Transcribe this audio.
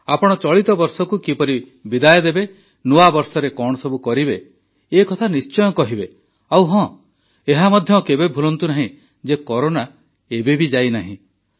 ଆପଣ ଚଳିତ ବର୍ଷକୁ କିପରି ବିଦାୟ ଦେବେ ନୂଆବର୍ଷରେ କଣ ସବୁ କରିବେ ଏକଥା ନିଶ୍ଚୟ କହିବେ ଆଉ ହଁ ଏହା ମଧ୍ୟ କେବେ ଭୁଲନ୍ତୁ ନାହିଁ ଯେ କରୋନା ଏବେ ବି ଯାଇନାହିଁ